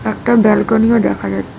একটা ব্যালকনিও দেখা যাচ্ছে।